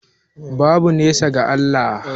Babu nesa ga Allah